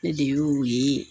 Ne de y'o ye